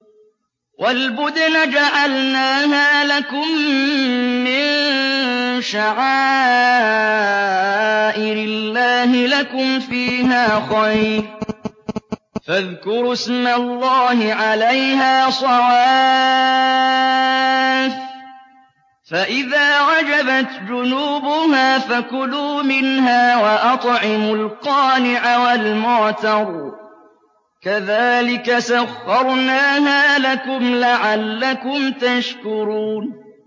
وَالْبُدْنَ جَعَلْنَاهَا لَكُم مِّن شَعَائِرِ اللَّهِ لَكُمْ فِيهَا خَيْرٌ ۖ فَاذْكُرُوا اسْمَ اللَّهِ عَلَيْهَا صَوَافَّ ۖ فَإِذَا وَجَبَتْ جُنُوبُهَا فَكُلُوا مِنْهَا وَأَطْعِمُوا الْقَانِعَ وَالْمُعْتَرَّ ۚ كَذَٰلِكَ سَخَّرْنَاهَا لَكُمْ لَعَلَّكُمْ تَشْكُرُونَ